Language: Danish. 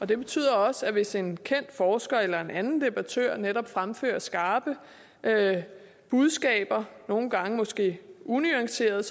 det betyder også at hvis en kendt forsker eller en anden debattør netop fremfører skarpe budskaber nogle gange måske unuanceret